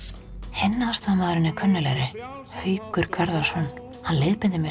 hinn aðstoðarmaðurinn er kunnuglegri Haukur Garðarsson hann leiðbeindi mér